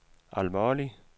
alvorlig